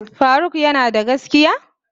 Faruk yanada gaskiya?